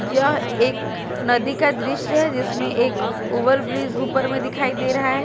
यह एक नदी का दृश्य है जिसमें एक ओवर ब्रिज ऊपर में दिखाई दे रहा है।